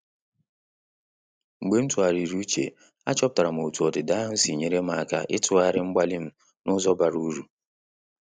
Mgbe m tụgharịrị uche, achọpụtara m otú ọdịda ahụ si nyere m aka ịtughari mgbalị m n’ụzọ bara uru.